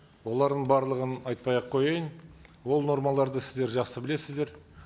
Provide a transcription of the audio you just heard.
олардың барлығын айтпай ақ қояйын ол нормаларды сіздер жақсы білесіздер